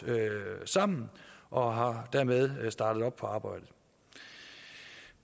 sammen og har dermed startet op på arbejdet